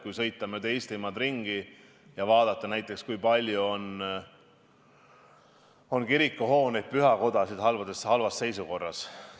Kui sõita mööda Eestit ringi ja vaadata, siis näiteks palju kirikuhooneid-pühakodasid on halvas seisukorras.